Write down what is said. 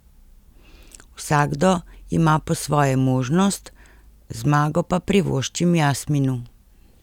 Vsakdo ima po svoje možnost, zmago pa privoščim Jasminu.